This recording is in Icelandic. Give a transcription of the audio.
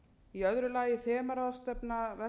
í öðru lagi þemaráðstefna vestnorræna ráðsins um